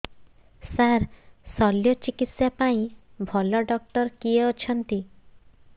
ସାର ଶଲ୍ୟଚିକିତ୍ସା ପାଇଁ ଭଲ ଡକ୍ଟର କିଏ ଅଛନ୍ତି